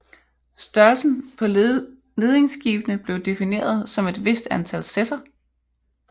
Størrelsen på ledingskibene blev defineret som et vist antal sesser